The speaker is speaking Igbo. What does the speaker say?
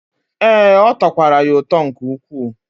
Ee, ọ tọkwara ya ụtọ nke ukwu.